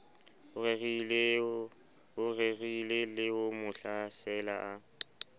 o rerileho mo hlasela a